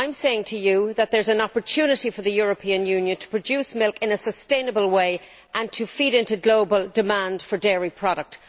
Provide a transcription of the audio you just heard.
I am saying that there is an opportunity for the European Union to produce milk in a sustainable way and to feed into global demand for dairy products.